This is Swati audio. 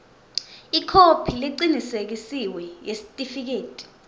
ikhophi lecinisekisiwe yesitifiketi